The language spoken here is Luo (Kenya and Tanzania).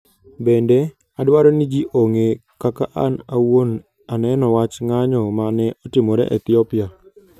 Bende, adwaro ni ji ong'e kaka an awuon aneno wach ng'anyo ma ne otimore Ethiopia.